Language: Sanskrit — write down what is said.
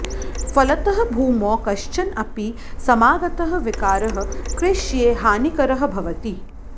फलतः भूमौ कश्चन अपि समागतः विकारः कृष्यै हानिकरः भवति